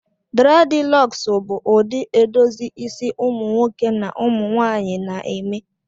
Dreadilocks bụ ụdị edozi isi ụmụ nwoke na ụmụ nwanyị na eme